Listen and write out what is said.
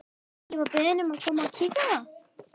Ég var beðinn um að koma og kíkja á það.